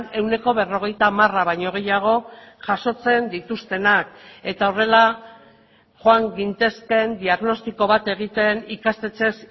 ehuneko berrogeita hamara baino gehiago jasotzen dituztenak eta horrela joan gintezkeen diagnostiko bat egiten ikastetxez